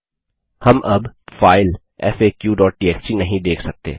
हम अब फाइल faqटीएक्सटी नहीं देख सकते